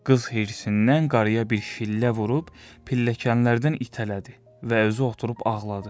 Qız hirsindən qarıya bir şillə vurub pilləkənlərdən itələdi və özü oturub ağladı.